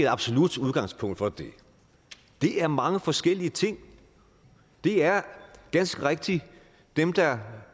absolut udgangspunkt for det det er mange forskellige ting det er ganske rigtigt dem der